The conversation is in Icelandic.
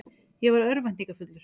Ég var örvæntingarfullur.